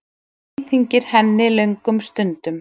Það íþyngir henni löngum stundum.